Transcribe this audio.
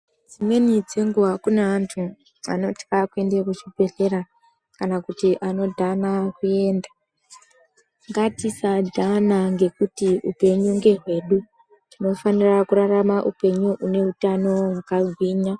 Dzimweni dzenguwa kune antu ,anoti apinde muchibhedhlera, kana kuti anodhana kuenda, ngatisadhana ngekuti upenyu ngehwedu. Tinofanira kurarama upenyu une utano hwakagwinya.